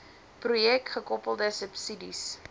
projek gekoppelde subsidies